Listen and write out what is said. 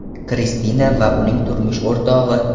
Kristina va uning turmush o‘rtog‘i.